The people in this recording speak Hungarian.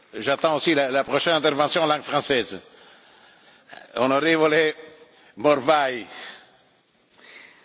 A Brexitről sokféleképpen lehet gondolkodni, de egy tény a britek történelmet csináltak.